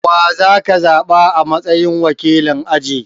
Wa za ka zaɓa a matsayin wakilin aji?